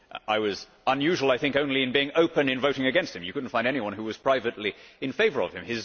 I was unusual, I think, only in being open in voting against him you could not find anyone who was privately in favour of him.